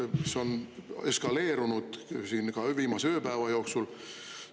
See on eskaleerunud siin ka viimase ööpäeva jooksul.